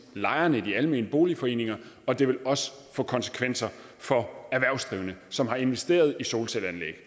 lejerne i de almene boligforeninger og det vil også få konsekvenser for erhvervsdrivende som har investeret i solcelleanlæg